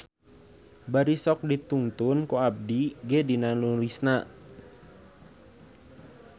Bari sok ditungtun ku abdi ge dina nulisna.